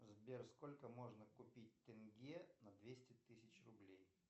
сбер сколько можно купить тенге на двести тысяч рублей